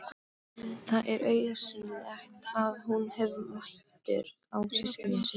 Það er augsýnilegt að hún hefur mætur á systkinum sínum.